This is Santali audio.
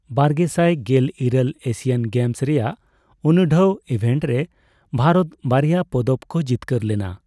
ᱵᱟᱨᱜᱮᱥᱟᱭ ᱜᱮᱞ ᱤᱨᱟᱹᱞ ᱮᱥᱤᱭᱟᱱ ᱜᱮᱢᱥ ᱨᱮᱭᱟᱜ ᱩᱱᱩᱰᱷᱟᱹᱣ ᱮᱵᱷᱮᱱᱴ ᱨᱮ ᱵᱷᱟᱨᱚᱛ ᱵᱟᱨᱭᱟ ᱯᱚᱫᱚᱠ ᱠᱚ ᱡᱤᱛᱠᱟᱹᱨ ᱞᱮᱱᱟ ᱾